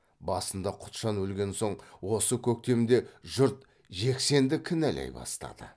басында құтжан өлген соң осы көктемде жұрт жексенді кінәлай бастады